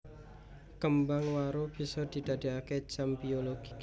Kembang waru bisa didadeake jam biologi